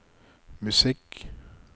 musikk